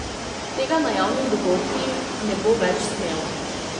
Tega na javnih dogodkih ne bo več smela.